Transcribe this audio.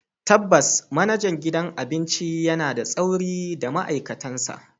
Tabbas, manajan gidan abinci yana da tsauri da ma'aikatansa.